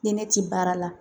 Ni ne ti baara la